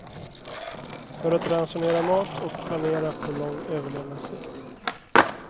För att ransonera mat och planera på lång överlevnadssikt.